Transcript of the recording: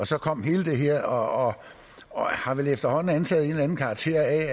så kom hele det her og har vel efterhånden antaget en eller anden karakter jeg